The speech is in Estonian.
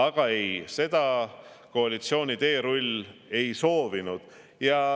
Aga ei, seda koalitsiooni teerull ei soovinud.